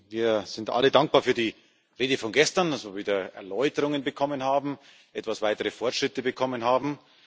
Wir sind alle dankbar für die Rede von gestern, dass wir wieder Erläuterungen bekommen haben, etwas weitere Fortschritte bekommen haben.